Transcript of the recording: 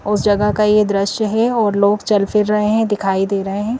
उस जगह का ये दृश्य है और लोग चल फिर रहे हैं दिखाई दे रहे हैं।